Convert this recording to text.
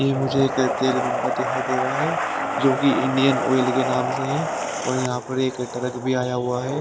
ये मुझे एक तेल पंपा दिखाई दे रहा है जो कि इंडियन ऑयल के नाम से है और पर एक ट्रक भी आया हुआ है।